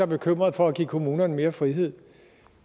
bekymrede for at give kommunerne mere frihed